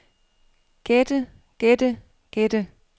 gætte gætte gætte